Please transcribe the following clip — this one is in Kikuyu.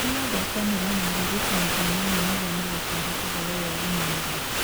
Tuma ngwatanĩro na arĩgitani a nyamũ nĩguo magũtare ũhoro wa ũgima narua